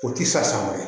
O ti sa ma